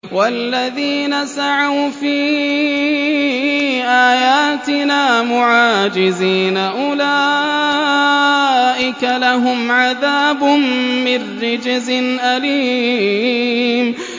وَالَّذِينَ سَعَوْا فِي آيَاتِنَا مُعَاجِزِينَ أُولَٰئِكَ لَهُمْ عَذَابٌ مِّن رِّجْزٍ أَلِيمٌ